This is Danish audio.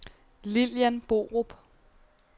Lillian Borup